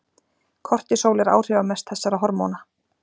Kortisól er áhrifamest þessara hormóna.